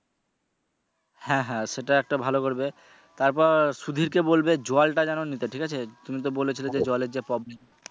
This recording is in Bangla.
হ্যা হ্যা সেটা একটা ভালো করবে তারপর সুধীরকে বলবে জলটা যেন নিতে ঠিক আছে তুমি তো যে জলের যে problem